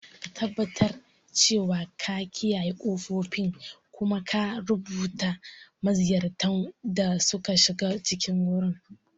Ka tabbatar cewa ka kiyaye ƙofofin, kuma ka rubuta maziyartan da suka shiga cikin wurin.